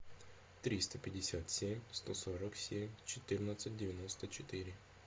триста пятьдесят семь сто сорок семь четырнадцать девяносто четыре